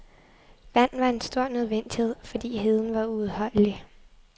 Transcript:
Vand var en stor nødvendighed, fordi heden var uudholdelig.